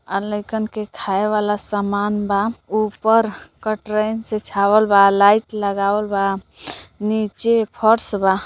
आ लईकन के खाये वाला सामान बा ऊपर कटरैन से छावल बा लाइट लगावल बा निचे फर्श बा।